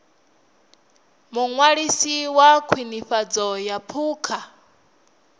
muṅwalisi wa khwinifhadzo ya phukha